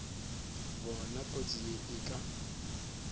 bona kotsi ye e ka